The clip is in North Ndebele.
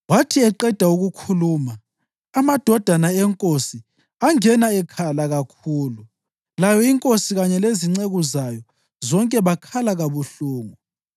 Wathi eqeda ukukhuluma, amadodana enkosi angena ekhala kakhulu. Layo inkosi, kanye lezinceku zayo zonke bakhala kabuhlungu.